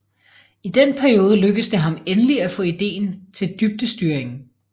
I den periode lykkedes det ham endelig at få ideen til dybdestyringen